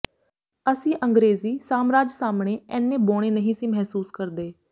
ਅਸੀਂ ਅੰਗਰੇਜ਼ੀ ਸਾਮਰਾਜ ਸਾਹਮਣੇ ਏਨੇ ਬੌਣੇ ਨਹੀਂ ਸੀ ਮਹਿਸੂਸ ਕਰਦੇ